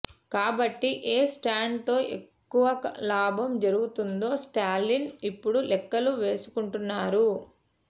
కాబట్టి ఏ స్టాండ్ తో ఎక్కువ లాభం జరుగుతుందో స్టాలిన్ ఇప్పుడు లెక్కలు వేసుకుంటున్నారు